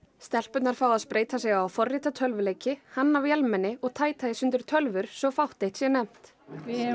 stelpurnar fá að spreyta sig á að forrita tölvuleiki hanna vélmenni og tæta í sundur tölvur svo fátt eitt sé nefnt við